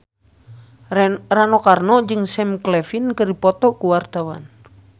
Rano Karno jeung Sam Claflin keur dipoto ku wartawan